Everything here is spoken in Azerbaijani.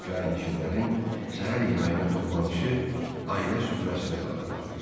Kirayəşinlərin səhər yeməyinə toplanışı ailə süfrəsini xatırladırdı.